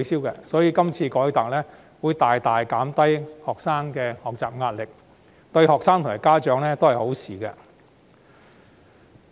因此，這次改革將大大減低學生的學習壓力，對學生及家長而言也是好事。